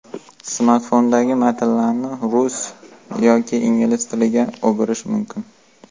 Smartfondagi matlarni rus yoki ingliz tiliga o‘girish mumkin.